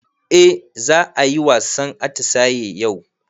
Eh za ayi wasan atisaye yau